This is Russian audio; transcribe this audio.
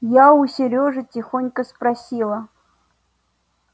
я у серёжи тихонько спросила